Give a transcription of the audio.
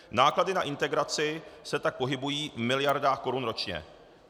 Náklady na integraci se tak pohybují v miliardách korun ročně.